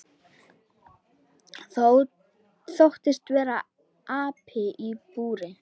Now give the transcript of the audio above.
Þóttist vera api í búri.